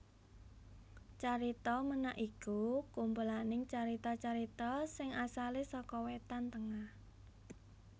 Carita Ménak iku kumpulaning carita carita sing asalé saka Wétan Tengah